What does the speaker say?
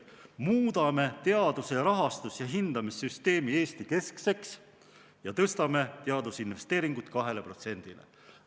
] teaduse rahastus- ning hindamissüsteemi Eesti-keskseks ja tõstame teadusinvesteeringud 2 protsendile SKP-st.